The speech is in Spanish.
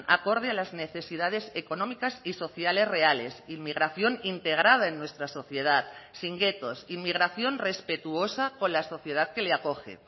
acorde a las necesidades económicas y sociales reales inmigración integrada en nuestra sociedad sin guetos inmigración respetuosa con la sociedad que le acoge